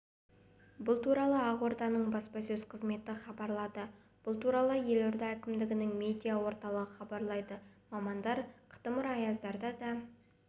бұл туралы ақорданың баспасөз қызметі хабарлады бұл туралы елорда әкімдігінің медиа орталығы хабарлайды мамандар қытымыр аяздарда да